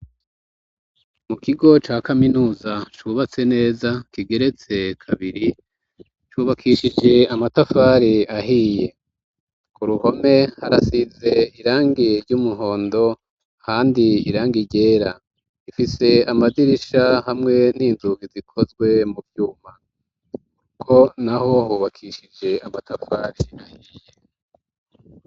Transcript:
Mukigo ca kaminuza cubatse neza kigeretse kabiri, cubakishije amatafari ahiye. K'uruhome harasize irangi ry'umuhondo, ahandi irangi ryera. Ifise amadirisha hamwe n'inzugi zikozwe mu vyuma. K'urugo n'aho hubakishije amatafari ahiye.